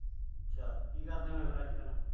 ਅੱਛਾ। ਕੀ ਕਰਦੇ ਹੁੰਦੇ ਓ ਫਿਰ ਅੱਜ-ਕੱਲ੍ਹ।